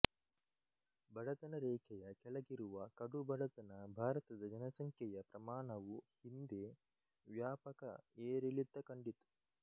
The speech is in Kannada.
ಬಡತನ ರೇಖೆಯ ಕೆಳಗಿರುವಕಡುಬಡತನಭಾರತದ ಜನಸಂಖ್ಯೆಯ ಪ್ರಮಾಣವು ಹಿಂದೆ ವ್ಯಾಪಕ ಏರಿಳಿತ ಕಂಡಿತು